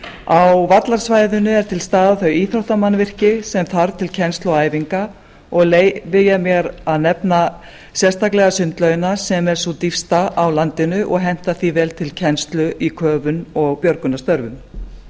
á vallarsvæðinu eru til staðar þau íþróttamannvirki sem þarf til kennslu og æfinga og leyfi ég mér að nefna sérstaklega sundlaugina sem er sú dýpsta á landinu og hentar því vel til kennslun í köfun og björgunarstörfum